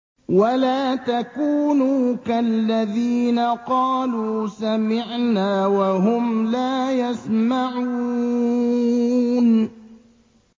وَلَا تَكُونُوا كَالَّذِينَ قَالُوا سَمِعْنَا وَهُمْ لَا يَسْمَعُونَ